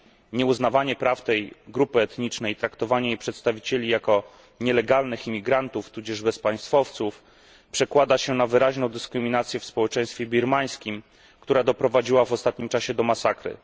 Nieuznawanie praw tej grup etnicznej i traktowanie jej przedstawicieli jako nielegalnych imigrantów tudzież bezpaństwowców przekłada się na wyraźną dyskryminację w społeczeństwie birmańskim, która doprowadziła w ostatnim czasie do masakry.